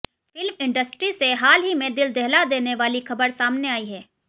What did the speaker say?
film industry से हाल ही में दिल दहला देने वाली खबर सामने आई है